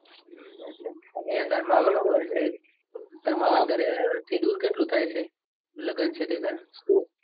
તાર મામા નું ઘર છે. તાર મામા ની ઘરે થી દૂર કેટલું થાય છે. લગન છે તે ઘર